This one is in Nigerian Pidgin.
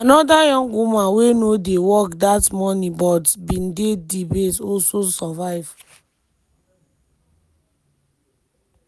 anoda young woman wey no dey work dat morning but bin dey di base also survive.